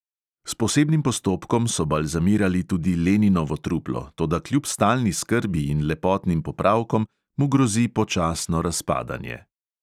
S posebnim postopkom so balzamirali tudi leninovo truplo, toda kljub stalni skrbi in lepotnim popravkom mu grozi počasno razpadanje.